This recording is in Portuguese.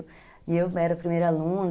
E eu era a primeira aluna.